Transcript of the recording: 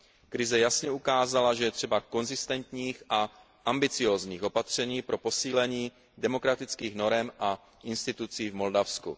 Krize jasně ukázala, že je třeba konzistentních a ambiciózních opatření pro posílení demokratických norem a institucí v Moldavsku.